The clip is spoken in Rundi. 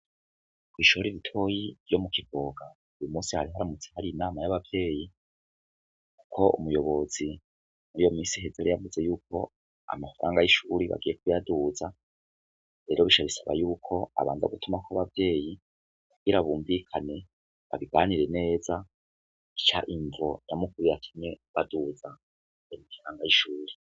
Kw'ishore iritoyi ryo mu kivoga uyu musi ahariharamutse hari inama y'abavyeyi, kuko umuyobozi ni iyo misi hezara yavuze yuko amafaranga y'ishuri bagiyekuyaduza rero bisha bisaba yuko abanza gutuma ko'abavyeyi kugira bumvikane babibanire neza itaima mvo yamukubiye akimye baduza etiranga y'ishuri.